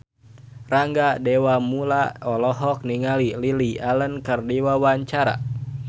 Rangga Dewamoela olohok ningali Lily Allen keur diwawancara